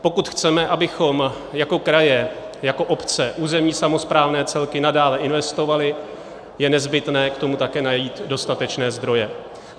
Pokud chceme, abychom jako kraje, jako obce, územní samosprávné celky nadále investovali, je nezbytné k tomu také najít dostatečné zdroje.